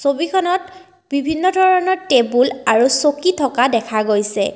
ছবিখনত বিভিন্ন ধৰণৰ টেবুল আৰু চকী থকা দেখা গৈছে।